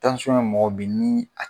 ye mɔgɔ ben ni a.